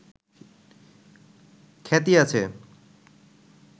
খ্যাতি আছে